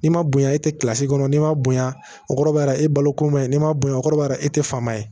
N'i ma bonya e tɛ kilasi kɔnɔ n'i ma bonya o kɔrɔbayara e baloko man ɲi n'i ma bonya o kɔrɔ bara e tɛ fa ma ye